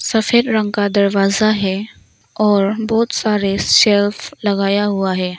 सफेद रंग का दरवाजा है और बहोत सारे सेल्फ लगाया हुआ है।